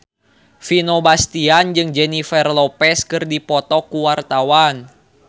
Vino Bastian jeung Jennifer Lopez keur dipoto ku wartawan